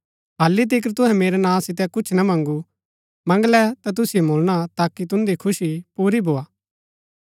हालि तिकर तुहै मेरै नां सितै कुछ ना मँगू मंगलै ता तुसिओ मुळणा ताकि तुन्दी खुशी पुरी भोआ